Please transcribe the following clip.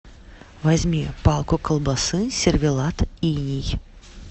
возьми палку колбасы сервелат иней